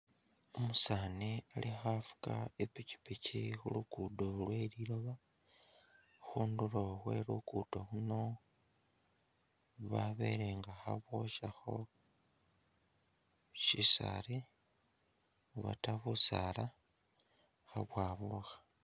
Umusaani ali khafuga i'pikyipikyi khulugudo lwe liloba, khundulo khwe lugudo luno babele nga khaboshakho shisaali obata busaala khabwaburukha